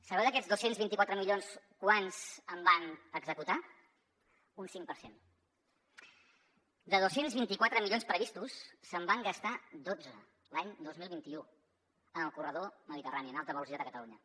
sabeu d’aquests dos cents i vint quatre milions quants en van executar un cinc per cent de dos cents i vint quatre milions previstos se’n van gastar dotze l’any dos mil vint u en el corredor mediterrani en alta velocitat a catalunya